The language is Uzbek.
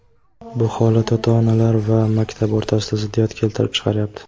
Bu holat ota-onalar va maktab o‘rtasida ziddiyat keltirib chiqaryapti.